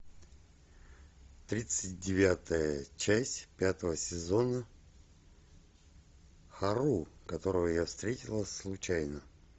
тридцать девятая часть пятого сезона ха ру которого я встретила случайно